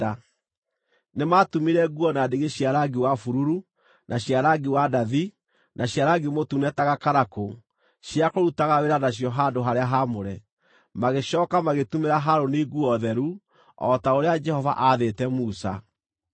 Nĩmatumire nguo na ndigi cia rangi wa bururu, na cia rangi wa ndathi, na cia rangi mũtune ta gakarakũ, cia kũrutaga wĩra nacio handũ-harĩa-haamũre. Magĩcooka magĩtumĩra Harũni nguo theru, o ta ũrĩa Jehova aathĩte Musa.